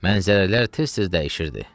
Mənzərələr tez-tez dəyişirdi.